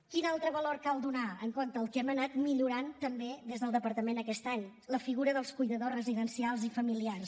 quin altre valor cal donar compte el que hem anat millorant també des del departament aquest any la figura dels cuidadors residencials i familiars